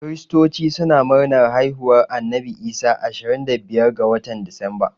Kiristoci suna murnar haihuwar Annabi Isa ashirin da biyar ga watan Disamba